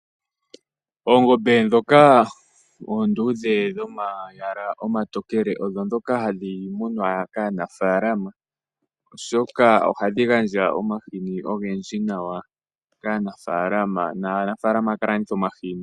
Oongombe dhoka oondudhe dhomayala omatokele odho dhoka hadhi munwa kaanafalama, oshoka ohadhi gandja omahini ogendji nawa kaanafalama, naanafalama ohaya kalanditha omahini.